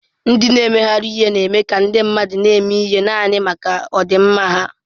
Ndị na-emegharị ihe na-eme ka ndị mmadụ na-eme ihe naanị maka ọdịmma ha.